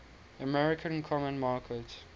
american common market